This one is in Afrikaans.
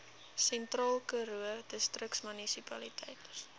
sentraalkaroo distriksmunisipaliteit